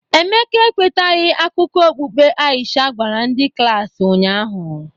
Emeka ekwetaghị akụkọ okpukpe Aisha gwara ndị klaasị ụnyahụ